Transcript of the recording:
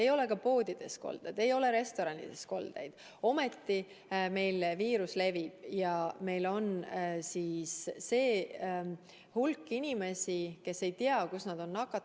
Ei ole ka poodides koldeid, ei ole restoranides koldeid, ometi meil viirus levib ja meil on hulk inimesi, kes ei tea, kus nad on nakatunud.